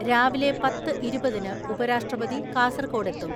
രാവിലെ പത്ത് ഇരുപതിന് ഉപരാഷ്ട്രപതി കാസർകോടെത്തും.